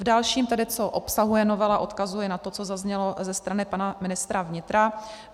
V dalším tedy, co obsahuje novela, odkazuji na to, co zaznělo ze strany pana ministra vnitra.